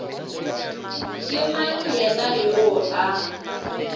ke mang yena yoo a